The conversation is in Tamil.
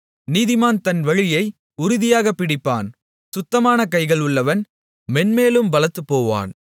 நீதிமான் தன் வழியை உறுதியாகப் பிடிப்பான் சுத்தமான கைகள் உள்ளவன் மேன்மேலும் பலத்துப்போவான்